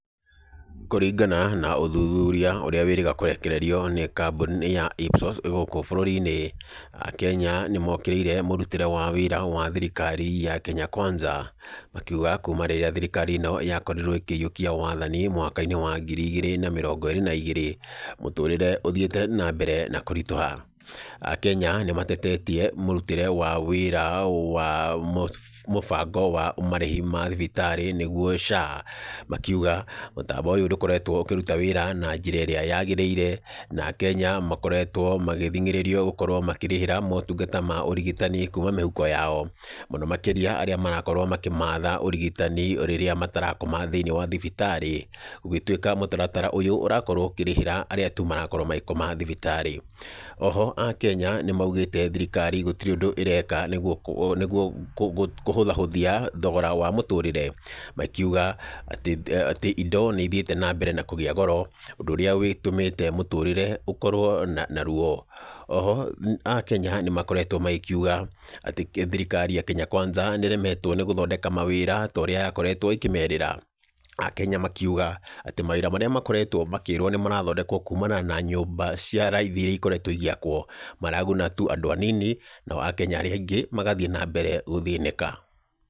Kũringana na ũthuthuria ũrĩa wĩrĩga kũrekererio nĩ kambuni ya IPSOS ĩgũkũ bũrũri-inĩ, akenya nĩ mokĩrĩire mũrutĩre wa wĩra wa thirikari ya Kenya kwanza. Makiuga kuuma rĩrĩa thirikari ĩno ya korirwo ĩkĩyukia wathani mwaka-inĩ wa ngirĩ igĩrĩ na mĩrongo ĩrĩ na igĩrĩ, Mũtũrĩre ũthiĩte na mbere na kũrituha. Akenya nĩ matetetie mũrutĩre wa wĩra wa mũbango wa marĩhi ma thibitarĩ nĩguo SHA, makiuga mũtambo ũyũ ndũkoretwo ũkĩruta wĩra na njĩra ĩrĩa yagĩrĩire, na akenya makoretwo magĩthingĩrĩrio gũkorwo makĩrĩhĩra motungata ma ũrigitani kuuma mĩhuko yao, mũno makĩria arĩa marakorwo makĩmatha ũrigitani rĩrĩa matarakoma thĩinĩ wa thibitarĩ. Gũgĩtuĩka mũtaratara ũyũ ũrakorwo ũkĩrĩhĩra arĩa tu marakorwo magĩkoma thibitarĩ. Oho akenya nĩ maugĩte thirikari gũtirĩ ũndũ ĩreka nĩguo kũhũthahũthia thogora wa mũtũrĩre. Magĩkiũga atĩ indo nĩ ithiĩte na mbere na kũgĩa goro, ũndũ ũrĩa ũgĩtũmĩte mũtũrĩre ũkorwo na ruo. Oho akenya nĩ makoretwo magĩkiuga atĩ thirikari ya Kenya Kwanza nĩ ĩremeto nĩ gũthondeka mawĩra ta ũrĩa yakoretwo ĩkĩmerĩra. Akenya makiuga atĩ mawĩra marĩa makoretwo makĩrwo atĩ nĩ marathondekwo kuumana na nyũmba cia raithi iria ikoretwo igĩakwo, maraguna tu andũ anini, no akenya arĩa aingĩ magathiĩ na mbere gũthĩnĩka.